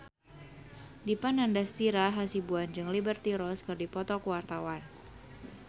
Dipa Nandastyra Hasibuan jeung Liberty Ross keur dipoto ku wartawan